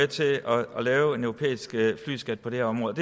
til at lave en europæisk flyskat på det her område